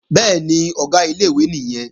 Bẹ́ẹ̀ni, Ọ̀gá ilé-ìwé nìyẹn